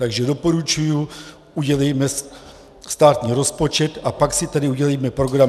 Takže doporučuji, udělejme státní rozpočet a pak si tady udělejme program.